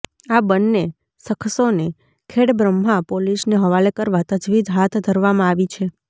આ બન્ને શખસોને ખેડબ્રહ્મા પોલીસને હવાલે કરવા તજવીજ હાથ ધરવામાં આવી છે